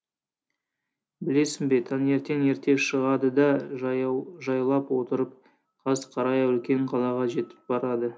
білесің бе таңертең ерте шығады да жаяу жайлап отырып қас қарая үлкен қалаға жетіп барады